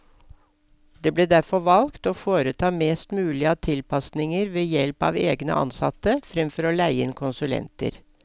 Det ble derfor valgt å foreta mest mulig av tilpasninger ved help av egne ansatte, fremfor å leie inn konsulenter.